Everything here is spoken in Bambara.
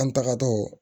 An tagatɔ